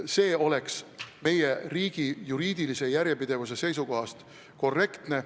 See oleks meie riigi juriidilise järjepidevuse seisukohast korrektne.